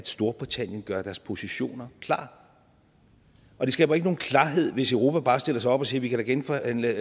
storbritannien gør deres positioner klar og det skaber ikke nogen klarhed hvis europa bare stiller sig op og siger vi kan da genforhandle